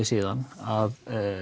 síðan að